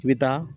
I bɛ taa